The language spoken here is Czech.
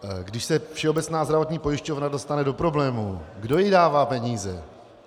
Když se Všeobecná zdravotní pojišťovna dostane do problémů, kdo jí dává peníze?